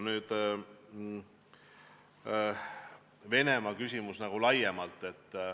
Venemaa küsimus laiemalt.